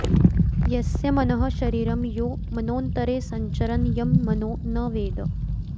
यस्य मनः शरीरं यो मनोन्तरे संचरन् यं मनो न वेद